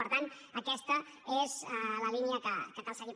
per tant aquesta és la línia que cal seguir